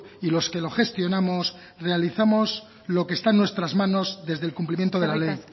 y los que lo gestionamos realizamos lo que está en nuestras manos desde el cumplimiento de la ley